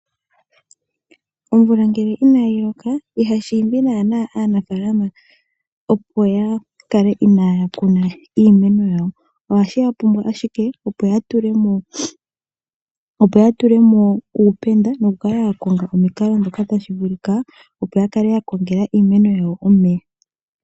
Omvula ngele inaa yi loka iha shiimbi naana aanafaalama opo yakale inaa ya kuna iimeno yawo. Ohashi ya pumbwa ashike opo ya tule mo uupenda, noku kala ya konga omukalo ndhoka tashi vulika opo ya kale yakongela iimeno yawo omeya.